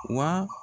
Wa